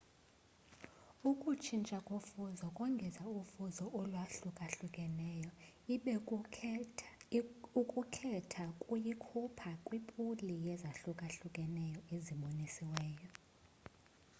ukutshintsha kofuzo kongeza ufuzo olwahlukahlukeneyo, ibe ukukhetha kuyikhupha kwipuli yezahlukahlukeneyo ezibonisiweyo